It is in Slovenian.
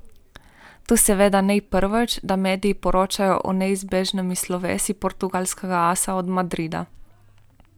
To seveda ni prvič, da mediji poročajo o neizbežnem slovesu portugalskega asa od Madrida.